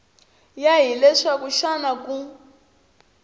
ya hi leswaku xana ku